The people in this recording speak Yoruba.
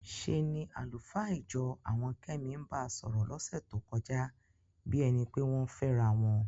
ṣe ni àlùfáà ìjọ àwọn Kẹ́mi ń ba sọ̀rọ̀ lọ́sẹ̀ tó kọjá bí ẹni pé wọ́n ń fẹ́ra wọn.